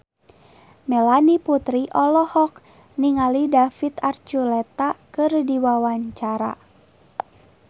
Melanie Putri olohok ningali David Archuletta keur diwawancara